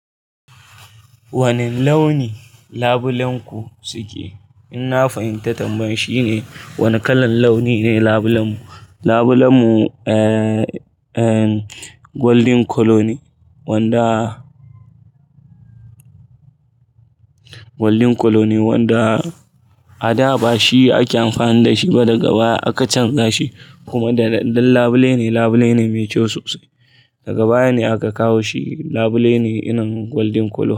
Wane launi labulenku suke? In na fahimta tambayar shine wane kalan launi ne labulenmu, labulenmu, eh, eh, gwaldin kolo ne wanda gwaldin kolo ne wanda a da ba shi ake amfani da shi ba, daga baya aka canza shi kuma dan labule ne, labule ne mai kyau sosai. Daga baya ne aka kawo shi labule ne ina gwaldin kolo.